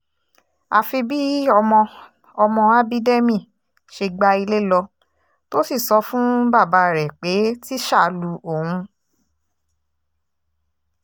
àfi bí ọmọ ọmọ ábídẹ́mì ṣe gba ilé lọ tó sì sọ fún bàbá rẹ̀ pé tíṣà lu òun